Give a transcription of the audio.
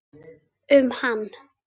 um hann.